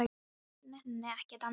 Ég nenni ekki að dansa meira.